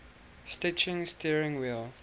stitching steering wheel